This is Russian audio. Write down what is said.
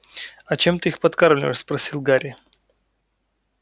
а чем ты их подкармливаешь спросил гарри